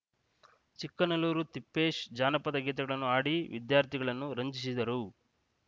ಚಿಕ್ಕನಲ್ಲೂರು ತಿಪ್ಪೇಶ್‌ ಜಾನಪದ ಗೀತೆಗಳನ್ನು ಹಾಡಿ ವಿದ್ಯಾರ್ಥಿಗಳನ್ನು ರಂಜಿಸಿದರು